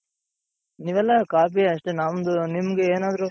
ನೀವೆಲ್ಲ ಕಾಫಿ ಅಷ್ಟೇ ನಮ್ದು ನಿಮ್ದು ಏನಾದ್ರೂ,